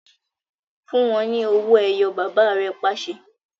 Fun u wọn ni òwò-ẹyọ̀! baba re pase